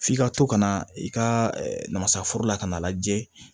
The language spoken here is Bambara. F'i ka to ka na i ka namasa foro la ka n'a lajɛ